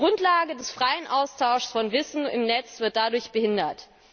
ein. Die Grundlage des freien Austauschs von Wissen im Netz wird dadurch behindert.